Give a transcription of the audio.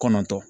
Kɔnɔntɔn